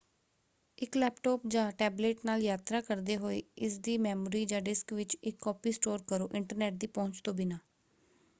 ਇੱਕ ਲੈਪਟਾਪ ਜਾਂ ਟੈਬਲੈੱਟ ਨਾਲ ਯਾਤਰਾ ਕਰਦੇ ਹੋਏ ਇਸਦੀ ਮੈਮੋਰੀ ਜਾਂ ਡਿਸਕ ਵਿੱਚ ਇੱਕ ਕਾਪੀ ਸਟੋਰ ਕਰੋ ਇੰਟਰਨੈੱਟ ਦੀ ਪਹੁੰਚ ਤੋਂ ਬਿਨਾਂ।